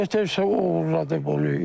Nətərsə oğurladı bu.